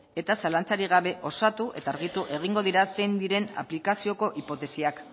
eta zalantzarik gabe osatu eta argitu egingo dira zein diren aplikazioko hipotesiak